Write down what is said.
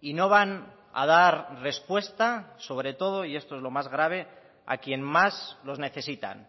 y no van a dar respuesta sobre todo y esto es lo más grave a quien más los necesitan